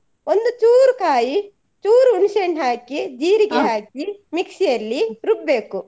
ಒಂದು ಚೂರು ಕಾಯಿ ಚೂರು ಹುಣ್ಸೆ ಹಣ್ಣ್ ಹಾಕಿ ಹಾಕಿ mixie ಯಲ್ಲಿ ರುಬ್ಬ್ ಬೇಕು.